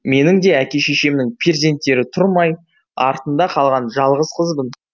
менің де әке шешемнің перзенттері тұрмай артында қалған жалғыз қызбын